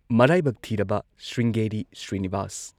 ꯃꯔꯥꯏꯕꯛ ꯊꯤꯔꯕ ꯁ꯭ꯔꯤꯡꯒꯦꯔꯤ ꯁ꯭ꯔꯤꯅꯤꯕꯥꯁ꯫